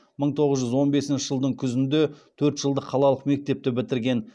мың тоғыз жүз он бесінші жылдың күзінде төрт жылдық қалалық мектепті бітірген